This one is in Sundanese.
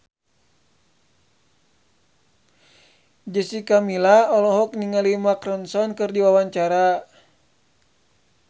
Jessica Milla olohok ningali Mark Ronson keur diwawancara